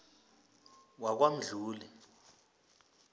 wakwamdluli